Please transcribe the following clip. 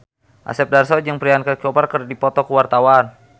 Asep Darso jeung Priyanka Chopra keur dipoto ku wartawan